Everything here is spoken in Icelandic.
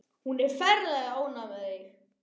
Hún er ferlega ánægð með þig.